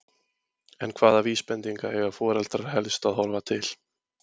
En hvaða vísbendinga eiga foreldrar helst að horfa til?